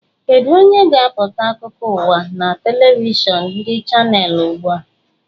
Kedu onye na-agụpụta akụkọ ụwa na telivishọn ndị chanels ugbu a?